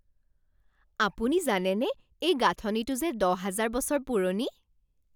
আপুনি জানেনে এই গাঁথনিটো যে দহ হাজাৰ বছৰ পুৰণি?